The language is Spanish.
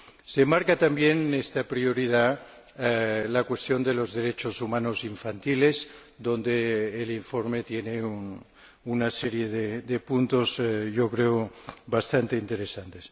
Se enmarca también en esta prioridad la cuestión de los derechos humanos infantiles, sobre la que el informe tiene una serie de puntos que creo bastante interesantes.